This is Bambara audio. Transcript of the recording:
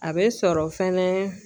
A bɛ sɔrɔ fɛnɛ